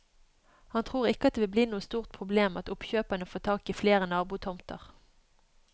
Han tror ikke at det vil bli noe stort problem at oppkjøpere får tak i flere nabotomter.